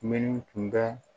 Minnu tun bɛ